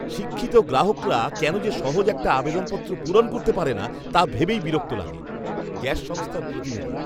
শিক্ষিত গ্রাহকরা কেন যে সহজ একটা আবেদনপত্র পূরণ করতে পারে না তা ভেবেই বিরক্ত লাগে। গ্যাস সংস্থার প্রতিনিধি